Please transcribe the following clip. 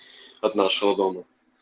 от нашего дома